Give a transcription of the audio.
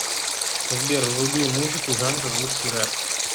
сбер вруби музыку жанра русский рэп